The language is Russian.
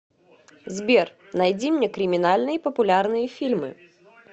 сбер найди мне криминальные популярные фильмы